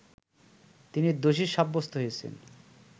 তিনি দোষী সাব্যস্ত হয়েছেন